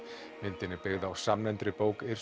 myndin er byggð á samnefndri bók